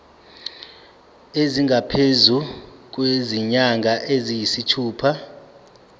esingaphezu kwezinyanga eziyisithupha